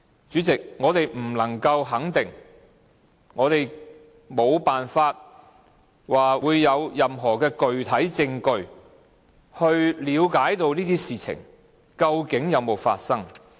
主席，我們不能肯定，我們無法有任何具體證據以了解這些事情究竟有沒有發生。